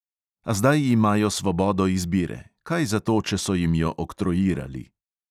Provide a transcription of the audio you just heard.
A zdaj imajo svobodo izbire, kaj zato, če so jim jo oktroirali.